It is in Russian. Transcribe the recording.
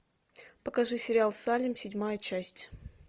покажи сериал салем седьмая часть